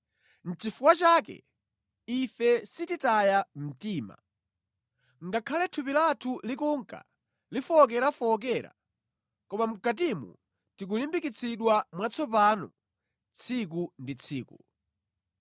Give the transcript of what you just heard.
Nʼchifukwa chake ife sititaya mtima. Ngakhale thupi lathu likunka lifowokerafowokera, koma mʼkatimu tikulimbikitsidwa mwatsopano tsiku ndi tsiku.